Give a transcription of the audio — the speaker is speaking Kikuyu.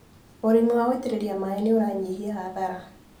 ũrĩmi wa gũitĩrĩria maĩ nĩũranyihia hathara.